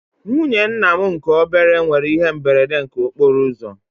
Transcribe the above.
Nwụnye ńnà mụ nke obere nwere ihe mberede nke okporouzo